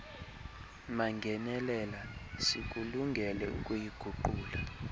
mangenelela sikulungele ukuyiguqula